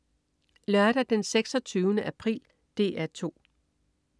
Lørdag den 26. april - DR 2: